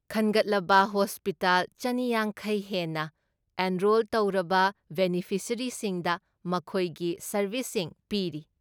ꯈꯟꯒꯠꯂꯕ ꯍꯣꯁꯄꯤꯇꯥꯜ ꯆꯅꯤꯌꯥꯡꯈꯩ ꯍꯦꯟꯅ ꯑꯦꯟꯔꯣꯜ ꯇꯧꯔꯕ ꯕꯦꯅꯤꯐꯤꯁꯤꯌꯔꯤꯁꯤꯡꯗ ꯃꯈꯣꯏꯒꯤ ꯁꯔꯚꯤꯁꯁꯤꯡ ꯄꯤꯔꯤ꯫